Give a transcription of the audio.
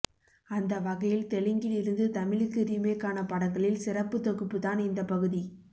அந்த வகையில் தெலுங்கில் இருந்து தமிழுக்கு ரீமேக்கான படங்களில் சிறப்பு தொகுப்பு தான் இந்த பகுதி